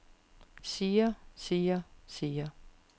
siger siger siger